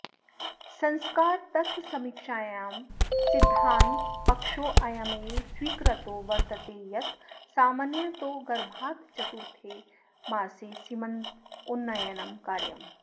संस्कारतत्त्वसमीक्षायां सिध्दान्तपक्षोऽयमेव स्वीकृतो वर्तते यत् सामान्यतो गर्भाच्चतुर्थे मासे सीमन्तोन्नयनं कार्यम्